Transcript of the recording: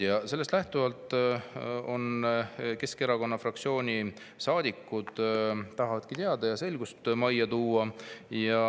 Ja sellest lähtuvalt Keskerakonna fraktsiooni saadikud tahavadki selgust majja tuua.